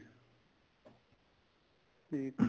ਠੀਕ ਏ